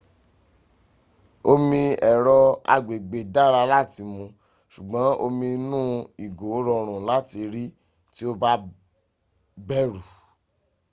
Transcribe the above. omi ẹ̀rọ agbègbè dára láti mu ṣùgbọ́n omi inú ìgò rọrùn láti rí tí o bá bẹ̀rù